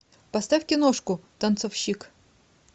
поставь киношку танцовщик